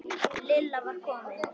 Lilla var komin.